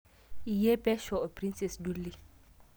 iye pesho oo princess jully